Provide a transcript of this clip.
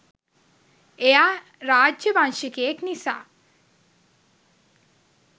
එයා රාජ්‍ය වංශිකයෙක් නිසා.